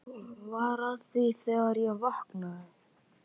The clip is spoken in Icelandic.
Var að því þegar ég vaknaði.